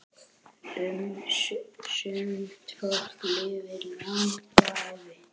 Sumt fólk lifir langa ævi.